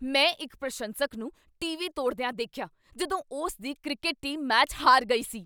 ਮੈਂ ਇੱਕ ਪ੍ਰਸ਼ੰਸਕ ਨੂੰ ਟੀਵੀ ਤੋੜਦਿਆ ਦੇਖਿਆ ਜਦੋਂ ਉਸ ਦੀ ਕ੍ਰਿਕਟ ਟੀਮ ਮੈਚ ਹਾਰ ਗਈ ਸੀ।